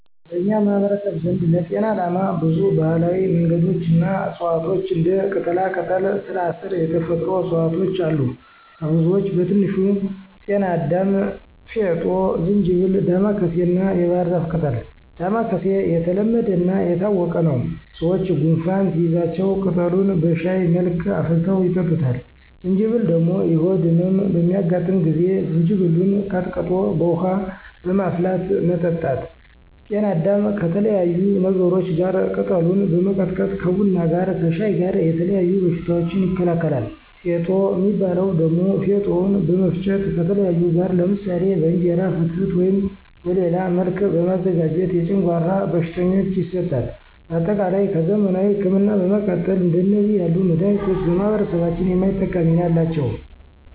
በኛ ማህበረሰብ ዘንድ ለጤና አላማ ብዙ ባህላዊ መንገዶች እና እፅዋቷች እንደ ቅጠላቅጠል፣ ስራስር የተፈጥሮ እፅዋቶች አሉ። ከብዙወች በትንሹ፦ ቅናዳም፣ ፌጦ፣ ጅንጀብል፣ ዳማከስይ እናየባህርዛፍ ቅጠል። ዳማከስይ የተለሐደናየታወቀ ነው። ሰወች ጎንፋን ሲይዛቸው ቅጠሉን በሽሀይ መልክ አፍልተው ይጠጡታል። ጅንጀብል ደሞ የሆድ እመም በሚያጋጥ ጊዜ ጅንጀብሉን ቀጥቅጦ በውሀ በማፍላት መጠጣት። ቅናዳም ከተለያዩ ነገሮች ጋር ቅጠሉን በመቀላቀል ከቡና ጋረ ከሻይ ጋር የተለያዩ በሽታወችን ይከላከላል። ፌጦ ሚባው ደሞ ፌጦውን በመፍጨት ከተለያዩ ጋር ለምሳሌ በእንጀራ ፍትፍት ወይም በሌላ መልክ በማዘጋጀት የጨጓራ ቀሽተኞች ይሰጣል። በአጠቃላይ ከዘመናዊ እክምና በመቀጠል እንደዚህ ያሉ መዳኒቶች ለማህበረሰባችን የማይተካ ሚና አላቸው።